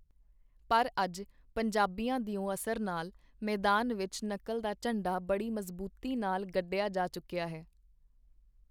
ਪਰ ਅਜ, ਪੰਜਾਬੀਆਂ ਦਿਓ ਅਸਰ ਨਾਲ, ਮੈਦਾਨ ਵਿਚ ਨਕਲ ਦਾ ਝੰਡਾ ਬੜੀ ਮਜ਼ਬੂਤੀ ਨਾਲ ਗੱਡਿਆ ਜਾ ਚੁੱਕੀਆ ਹੈ.